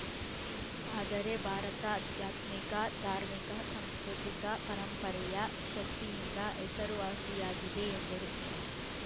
ಆದರೆ ಭಾರತ ಆಧ್ಯಾತ್ಮಿಕ ಧಾರ್ಮಿಕ ಸಾಂಸ್ಕೃತಿಕ ಪರಂಪರೆಯ ಶಕ್ತಿಯಿಂದ ಹೆಸರುವಾಸಿಯಾಗಿದೆ ಎಂದರು